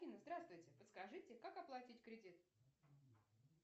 афина здравствуйте подскажите как оплатить кредит